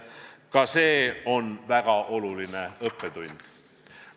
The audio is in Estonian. Ka see on väga oluline õppetund.